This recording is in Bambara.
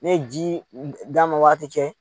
Ne ye ji dan waati cɛ